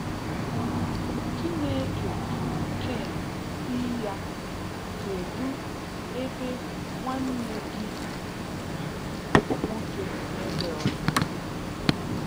um Chineke juru Cain si ya, “kedu ebe nwanne gi um nwoke Abel no?”